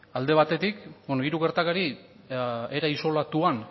bueno hiru gertakari era isolatuan